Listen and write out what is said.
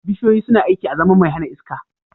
Bishiyoyi suna aiki azaman mai hana iska